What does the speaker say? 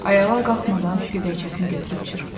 Ayağa qalxmadan gödəkçəsini götürüb çırpdı.